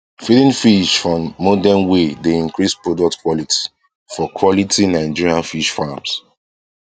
feeding fish for modern way dey increase product quality for quality for nigerian fish farms